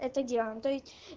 это диана то есть